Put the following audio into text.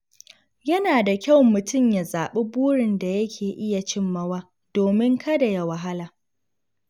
Yana da kyau mutum ya zaɓi burin da yake iya cimmawa domin kada ya wahala.